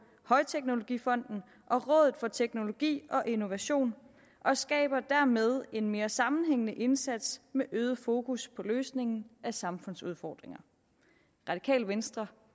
højteknologifonden og rådet for teknologi og innovation og skaber dermed en mere sammenhængende indsats med øget fokus på løsningen af samfundsudfordringer radikale venstre